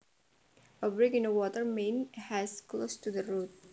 A break in a water main has closed the road